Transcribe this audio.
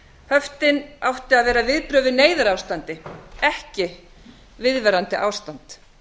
höftin áttu að vera viðbrögð við neyðarástandi ekki viðvarandi ástand